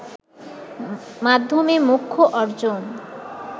মাধ্যমে মোক্ষ অর্জন